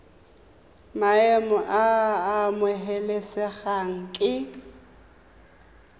maemo a a amogelesegang ke